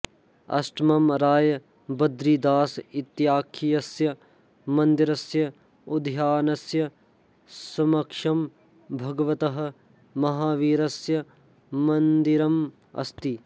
अष्टमं राय बद्रीदास इत्याख्यस्य मन्दिरस्य उद्यानस्य समक्षं भगवतः महावीरस्य मन्दिरम अस्ति